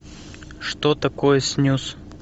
что такое снюс